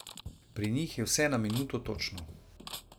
Pri njih je vse na minuto točno.